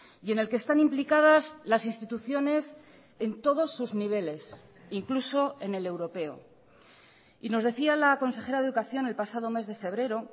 y en el que están implicadas las instituciones en todos sus niveles incluso en el europeo y nos decía la consejera de educación el pasado mes de febrero